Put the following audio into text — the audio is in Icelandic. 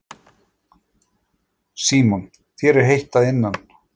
Símon: Þér er heitt að innan?